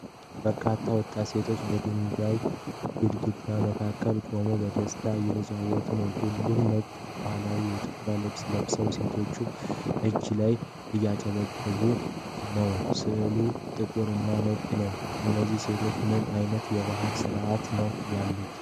በርካታ ወጣት ሴቶች በድንጋይ ግድግዳ መካከል ቆመው በደስታ እየተጫወቱ ነው። ሁሉም ነጭ ባህላዊ የኢትዮጵያ ልብስ ለብሰዋል። ሴቶቹ እጅ ለእጅ እየጨበጡና እያጨበጨቡ ነው። ሥዕሉ ጥቁር እና ነጭ ነው። እነዚህ ሴቶች በምን ዓይነት የባህል ሥነ ሥርዓት ውስጥ ነው ያሉት?